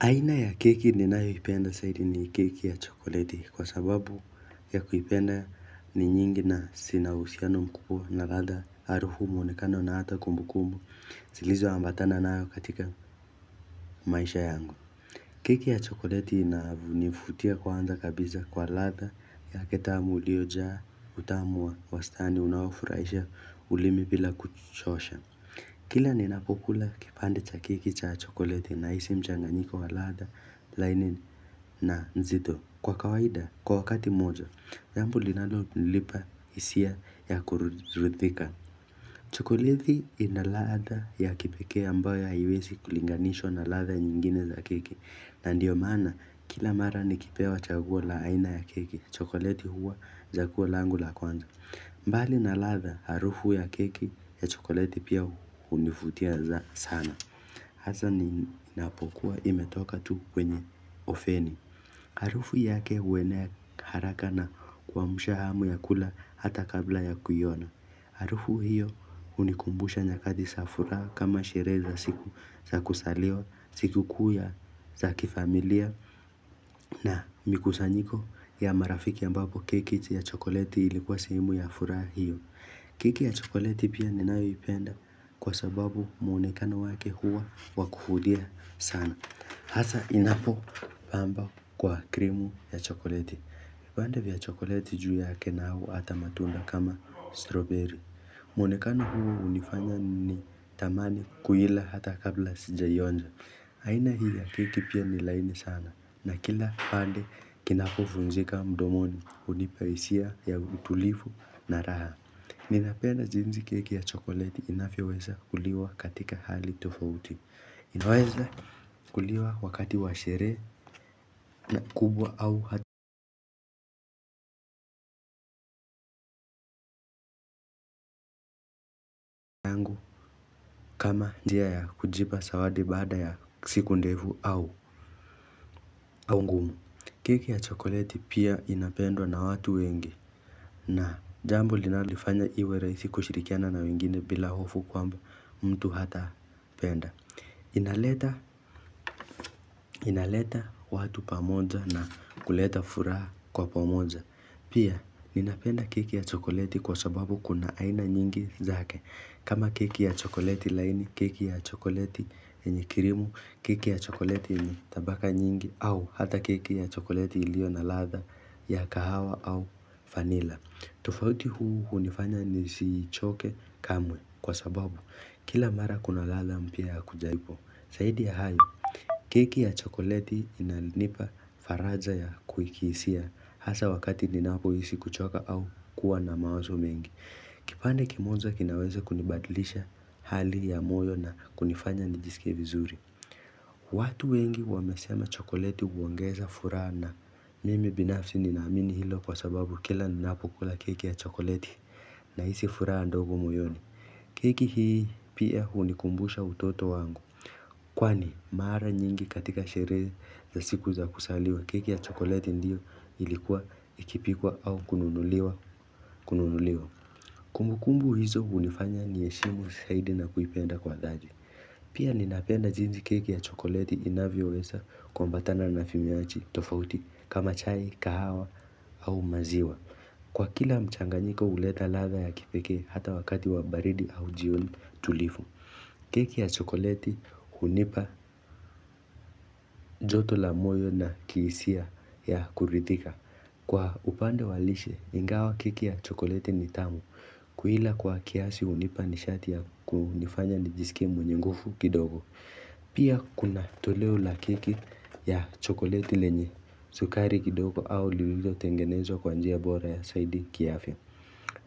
Aina ya keki ninayoipenda zaidi ni keki ya chokoleti kwa sababu ya kuipenda ni nyingi na zinauhusiano mkubwa na ladha harufu mwonekano na hata kumbukumbu zilizo ambatana nayo katika maisha yangu. Keki ya chokoleti inanivutia kwanza kabisa kwa ladha yake tamu iliojaa utamu wa wastani unaofurahisha ulimi bila kuchosha. Kila ninapokula kipande cha keki cha chokoleti nahisi mchanganyiko wa ladha laini na nzito Kwa kawaida kwa wakati mmoja, jambo linalo nipa hisia ya kuridhika chokoleti ina ladha ya kipekee ambayo haiwezi kulinganishwa na ladha nyingine za keki na ndiyo maana kila mara ni kipewa chaguo la aina ya keki, chokoleti huwa chaguo langu la kwanza mbali na ladha harufu ya keki ya chokoleti pia hunivutia sana. Hasa inapokuwa imetoka tu kwenye oveni. Harufu yake huenea haraka na kuamsha hamu ya kula hata kabla ya kuiona. Harufu hiyo hunikumbusha nyakati za furaha kama sherehe za siku za kuzaliwa, siku kuu ya za kifamilia na mikusanyiko ya marafiki ambapo keki ya chokoleti ilikuwa sehemu ya furaha hiyo. Keki ya chokoleti pia ninayoipenda kwa sababu mwonekano wake huwa wakuhudia sana. Hasa inapo pamba kwa krimu ya chokoleti. Vipande vya chokoleti juu yake na au hata matunda kama stroberi. Muonekano huo hunifanya ni tamani kuila hata kabla sija ionja. Aina hii ya keki pia nilaini sana. Na kila pande kinapovunjika mdomoni hunipa hisia ya utulivu na raha. Ninapenda jinsi keki ya chokoleti inavyoweza kuliwa katika hali tofauti. Inawaeza kuliwa wakati washerehe kubwa au kama njia ya kujipa zawadi baada ya siku ndefu au ngumu. Keki ya chokoleti pia inapendwa na watu wengi na jambo linaloifanya iwe rahisi kushirikiana na wengine bila hofu kwamba mtu hata penda. Inaleta watu pamoja na kuleta furaha kwa pamoja Pia, ninapenda keki ya chokoleti kwa sababu kuna aina nyingi zake kama keki ya chokoleti laini, keki ya chokoleti yenye kirimu, keki ya chokoleti yenye tabaka nyingi au hata keki ya chokoleti ilio na ladha ya kahawa au vanilla tofauti huu hunifanya nisi choke kamwe kwa sababu kila mara kuna ladha mpya ya kuja ipo zaidi ya hayo, keki ya chokoleti inanipa faraja ya kuikisia hasa wakati ninapo hisi kuchoka au kuwa na mawazo mengi. Kipande kimoja kinaweze kunibadlisha hali ya moyo na kunifanya nijisikie vizuri. Watu wengi wamesema chokoleti huongeza furaha na mimi binafsi ninaamini hilo kwa sababu kila ninapo kula keki ya chokoleti nahisi furaha ndogo moyoni. Keki hii pia hunikumbusha utoto wangu, kwani mara nyingi katika sherehe za siku za kuzaliwa keki ya chokoleti ndiyo ilikuwa ikipikwa au kununuliwa kununuliwa. Kumbukumbu hizo hunifanya niheshimu zaidi na kuipenda kwa dhati. Pia ninapenda jinsi keki ya chokoleti inavyo weza kuambatana na vinywaji, tofauti, kama chai, kahawa au maziwa. Kwa kila mchanganyiko huleta ladha ya kipekee hata wakati wabaridi au jioni tulivu. Keki ya chokoleti hunipa joto la moyo na kihisia ya kuridhika. Kwa upande wa lishe, ingawa keki ya chokoleti ni tamu. Kuila kwa kiasi hunipa nishati ya kunifanya ni jisikie mwenye nguvu kidogo. Pia kuna toleo la keki ya chokoleti lenye, sukari kidogo au lililo tengenezwa kwanjia bora ya zaidi kiafya.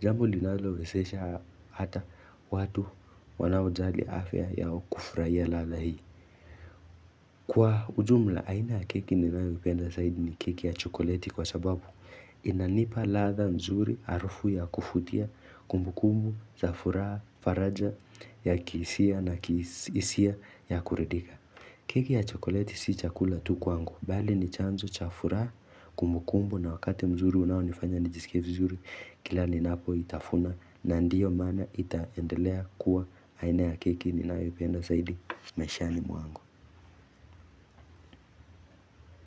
Jambo linalo wezesha hata watu wanaojali afya yao kufurahia ladha hii. Kwa ujumla aina ya keki ninayo ipenda zaidi ni keki ya chokoleti kwa sababu. Inanipa ladha nzuri harufu ya kuvutia kumbukumbu, zafuraha, faraja ya kihisia na hisia ya kuridhika. Keki ya chokoleti si chakula tu kwangu. Bali ni chanzo chafuraha kumbukumbu na wakati mzuri unao nifanya nijisikie vizuri kila ni napo itafuna na ndiyo maana itaendelea kuwa aina ya keki ni nayo ipenda zaidi maishani mwangu.